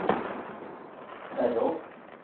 Terråk